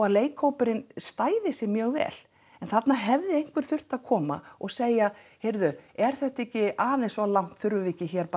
að leikhópurinn stæði sig mjög vel en þarna hefði einhver þurft að koma og segja heyrðu er þetta ekki aðeins of langt þurfum við ekki